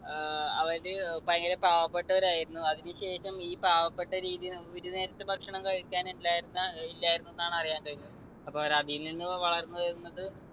ഏർ അവര് ഭയങ്കര പാവപ്പെട്ടവരായിരുന്നു അതിനു ശേഷം ഈ പാവപ്പെട്ട രീതി ഒരു നേരത്തെ ഭക്ഷണം കഴിക്കാൻ ഇല്ലായിരുന്ന ഏർ ഇല്ലായിരുന്നുന്നാണ് അറിയാൻ കഴിഞ്ഞത് അപ്പൊ അവര് അതിൽ നിന്ന് വളർന്നു വരുന്നത്